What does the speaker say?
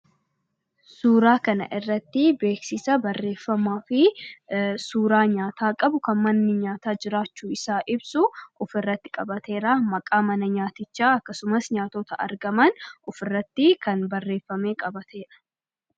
Suuraa kana irratti beeksisa barreeffamaafi suuraa nyaataa qabu, kan manni nyaataa jiraachuusaa ibsu ofirratti qabatee jira. Maqaan mana nyaatichaas, nyaatota argamanis ofirratti kan barreefamee qabatedha.